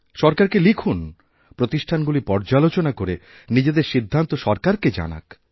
সরকারকে লিখুন প্রতিষ্ঠানগুলি পর্যালোচনা করে নিজেদের সিদ্ধান্ত সরকারকে জানাক